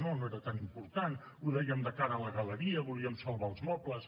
no no era tan important ho dèiem de cara a la galeria volíem salvar els mobles